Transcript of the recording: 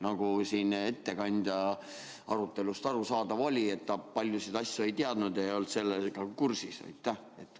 Nagu siin ettekandja arutelust aru saada oli, ta paljusid asju ei teadnud, ei olnud kursis.